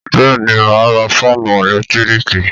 Bẹ́ẹ̀ ni, mà á ra fáánù ẹ̀lẹ́tíríkì.